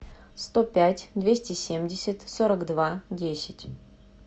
сто пять двести семьдесят сорок два десять